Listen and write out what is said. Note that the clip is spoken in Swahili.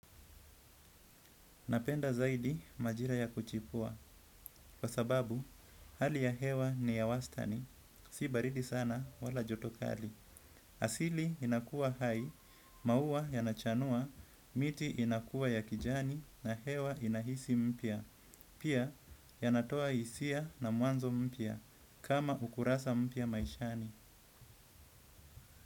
Napenda zaidi majira ya kuchipua, kwa sababu hali ya hewa ni ya wastani, si baridi sana wala jotokali. Asili inakua hai, mauwa yanachanua, miti inakua ya kijani na hewa inahisi mpia. Pia yanatoa isia na muanzo mpia, kama ukurasa mpia maishani.